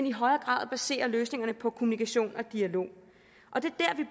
i højere grad basere løsningerne på kommunikation og dialog det